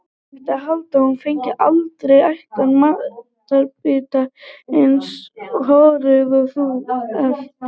Það mætti halda að þú fengir aldrei ætan matarbita, eins horuð og þú ert.